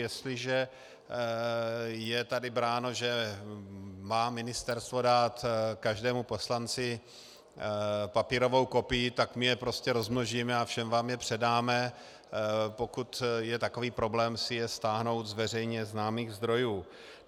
Jestliže je tady bráno, že má ministerstvo dát každému poslanci papírovou kopii, tak my je prostě rozmnožíme a všem vám je předáme, pokud je takový problém si je stáhnout z veřejně známých zdrojů.